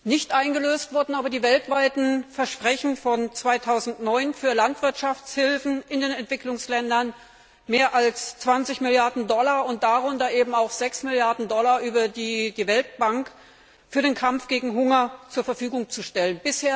Nicht eingelöst wurden die weltweiten Versprechen von 2009, für Landwirtschaftshilfen in den Entwicklungsländern mehr als 20 Milliarden Dollar, darunter 6 Milliarden Dollar über die Weltbank, für den Kampf gegen Hunger zur Verfügung zu stellen.